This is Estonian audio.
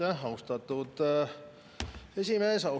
Aitäh, austatud esimees!